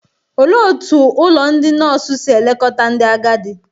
Olee otú ụlọ ndị nọọsụ si elekọta ndị agadi?